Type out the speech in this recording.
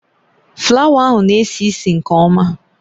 Flawa ahụ na-esi ísì nke ọma